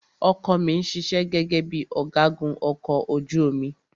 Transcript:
Ọkọ ọ̀ mi ṣiṣẹ́ gẹ́gẹ́ bíi ọ̀gágun ọkọ̀ ojú omi.